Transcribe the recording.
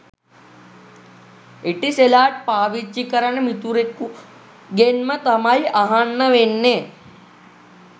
Etisalat පාවිච්චි කරන මිතුරෙකුගෙන්ම තමයි අහන්න වෙන්නෙ